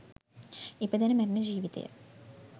ඉපදෙන මැරෙන ජීවිතය